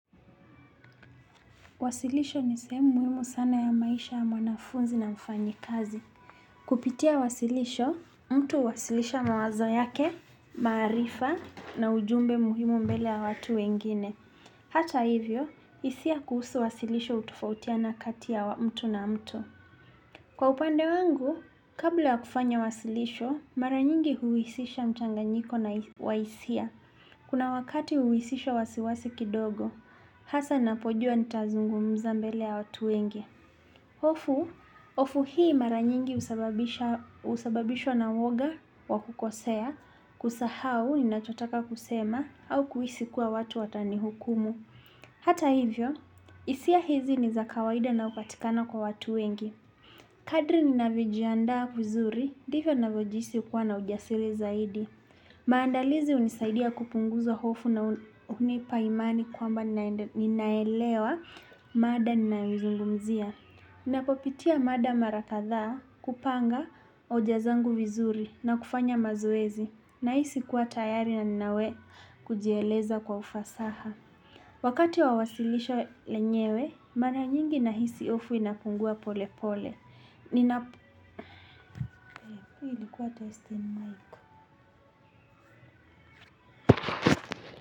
Wasilisho ni sehemu muhimu sana ya maisha ya mwanafunzi na mfanyikazi. Kupitia wasilisho, mtu huwasilisha mawazo yake, maarifa na ujumbe muhimu mbele ya watu wengine. Hata hivyo, hisia kuhusu wasilisho hutofautiana kati ya mtu na mtu. Kwa upande wangu, kabla ya kufanya wasilisho, mara nyingi huhisisha mchanganyiko na wa hisia. Kuna wakati huwisisha wasiwasi kidogo, hasa napojua nitazungumza mbele ya watu wengi hofu, hofu hii mara nyingi husababishwa na uoga wa kukosea, kusahau ninachotaka kusema, au kuhisi kuwa watu watanihukumu. Hata hivyo, hisia hizi ni za kawaida na hupatikana kwa watu wengi. Kadri ninavojiandaa vizuri, ndivyo navojihisi kuwa na ujasiri zaidi. Maandalizi hunisaidia kupunguza hofu na hunipa imani kwamba ninaelewa mada ninayoizungumzia. Napopitia mada mara kadhaa kupanga hoja zangu vizuri na kufanya mazoezi. Nahisi kuwa tayari na ninawe kujieleza kwa ufasaha. Wakati wa wasilisho lenyewe, mara nyingi nahisi hofu inapungua pole pole. Ninapo.